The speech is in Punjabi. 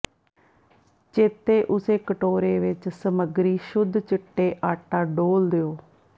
ਚੇਤੇ ਉਸੇ ਕਟੋਰੇ ਵਿੱਚ ਸਮੱਗਰੀ ਸ਼ੁੱਧ ਚਿੱਟੇ ਆਟਾ ਡੋਲ੍ਹ ਦਿਓ